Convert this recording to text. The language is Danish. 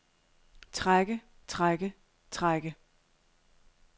trække trække trække